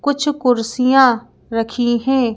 कुछ कुर्सियाँ रखी हैं।